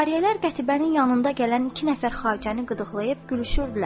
Cariyələr qətibənin yanında gələn iki nəfər xacəni qıdıqlayıb gülüşürdülər.